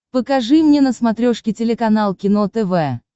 покажи мне на смотрешке телеканал кино тв